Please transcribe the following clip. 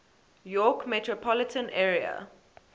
york metropolitan area